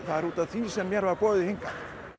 það er út af því sem mér var boðið hingað